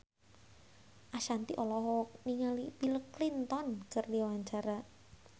Ashanti olohok ningali Bill Clinton keur diwawancara